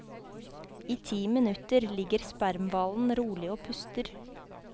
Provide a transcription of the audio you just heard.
I ti minutter ligger spermhvalen rolig og puster.